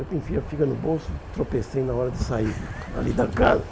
Eu enfiei a figa no bolso, tropecei na hora de sair ali da casa.